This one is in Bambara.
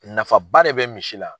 Nafaba de bɛ misi la.